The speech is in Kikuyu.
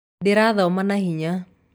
Nĩndĩrathoma na hinya